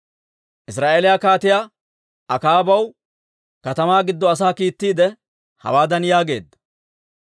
Israa'eeliyaa Kaatiyaa Akaabaw katamaa giddo asaa kiittiide hawaadan yaageedda;